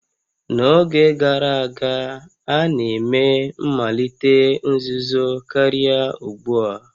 N'oge gara aga, a na-eme mmalite nzuzo karịa ugbu a